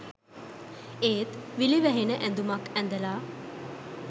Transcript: ඒත් විලි වැහෙන ඇඳුමක් ඇඳලා